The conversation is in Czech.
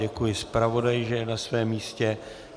Děkuji zpravodaji, že je na svém místě.